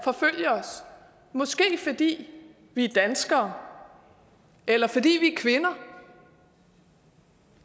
forfølge os måske fordi vi er danskere eller fordi vi er kvinder